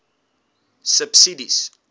subsidies